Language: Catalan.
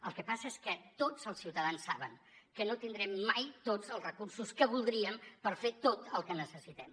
el que passa és que tots els ciutadans saben que no tindrem mai tots els recursos que voldríem per fer tot el que necessitem